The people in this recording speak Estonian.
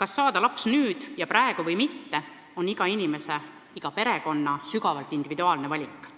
kas saada laps nüüd ja praegu või mitte, on iga inimese, iga perekonna sügavalt individuaalne valik.